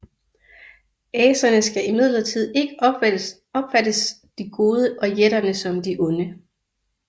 Aserne skal imidlertid ikke opfattes som de gode og jætterne som de onde